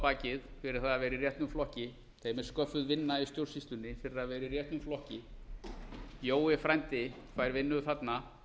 bakið fyrir að vera í réttum flokki þeim er sköffuð vinna í stjórnsýslunni fyrir að vera í réttum flokki jói frændi fær vinnu þarna